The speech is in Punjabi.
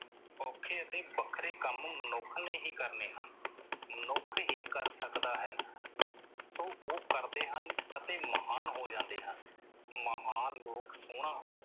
ਔਖੇ ਅਤੇ ਵੱਖਰੇ ਕੰਮ ਮਨੁੱਖ ਨੇ ਹੀ ਕਰਨੇ ਹਨ। ਮਨੁੱਖ ਹੀ ਕਰ ਸਕਦਾ ਹੈ ਸੋ ਉਹ ਕਰਦੇ ਹਨ ਅਤੇ ਮਹਾਨ ਹੋ ਜਾਂਦੇ ਹਨ। ਮਹਾਨ ਲੋਕ ਸੋਹਣਾ,